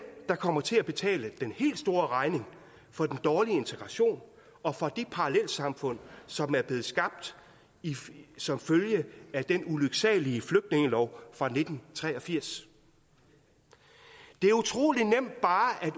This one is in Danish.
der kommer til at betale den helt store regning for den dårlige integration og for de parallelsamfund som er blevet skabt som følge af den ulyksalige flygtningelov fra nitten tre og firs det er utrolig nemt bare at